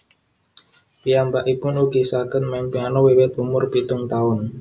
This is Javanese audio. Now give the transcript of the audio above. Piyambakipun ugi saged main piano wiwit umur pitung taun